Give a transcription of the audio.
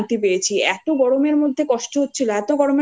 আমি মানে খুব শান্তি পেয়েছি। এতো গরমের